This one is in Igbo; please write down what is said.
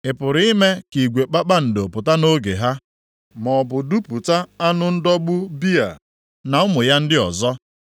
Ị pụrụ ime ka igwe kpakpando pụta nʼoge ha maọbụ dupụta anụ ndọgbu Bịa na ụmụ ya ndị ọzọ?